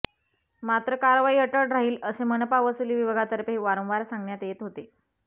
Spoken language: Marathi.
मात्र कारवाई अटळ राहील असे मनपा वसुली विभागातर्फे वारंवार सांगण्यात येत होते